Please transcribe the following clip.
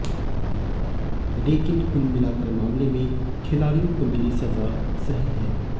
लेकिन कुल मिलाकर मामले में खिलाड़ियों को मिली सजा सही है